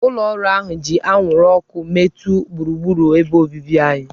Ụlọ ọrụ ahụ ji anwụrụ ọkụ metọọ gburugburu ebe obibi anyị.